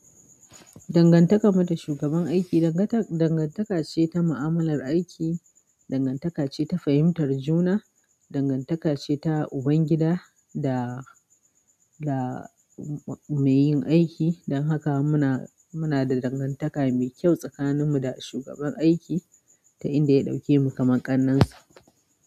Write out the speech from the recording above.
Dangantakarmu da shugaban aiki, dangan dangantaka ce ta mu'amalar aiki, dangantakace ta fahimtar juna, dangantakace ta ubangida da mai yin aiki. Dan haka muna muna da dangantaka mai kyau tsakanin mu da shugaban aiki, ta inda ya ɗaukemu kaman ƙannansa.